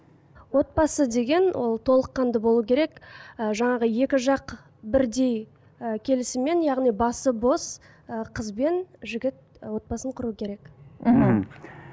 отбасы деген ол толыққанды болу керек ы жаңағы екі жақ бірдей і келісіммен яғни басы бос і қыз бен жігіт і отбасын құру керек мхм